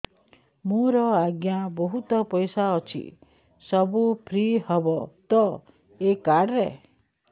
ମୋର ଆଜ୍ଞା ବହୁତ ପଇସା ଅଛି ସବୁ ଫ୍ରି ହବ ତ ଏ କାର୍ଡ ରେ